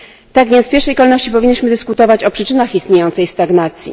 Tak więc w pierwszej kolejności powinniśmy dyskutować o przyczynach istniejącej stagnacji.